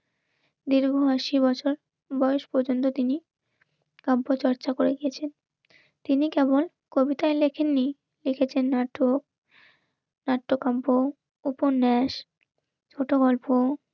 দীর্ঘ আশি বছর বয়স পর্যন্ত তিনি কাব্য চর্চা করে গেছেন. তিনি কেমন কবিতায় লেখেননি লিখেছেন নাটক, নাট্যকম্প, উপন্যাস, ছোট গল্প